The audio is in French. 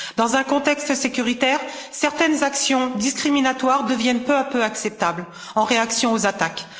Dans un contexte sécuritaire, certaines actions discriminatoires deviennent peu à peu acceptables en réaction aux attaques.